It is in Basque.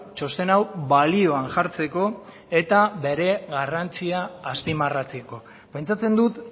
txosten hau balioan jartzeko eta bere garrantzia azpimarratzeko pentsatzen dut